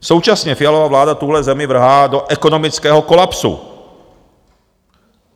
Současně Fialova vláda tuhle zemi vrhá do ekonomického kolapsu.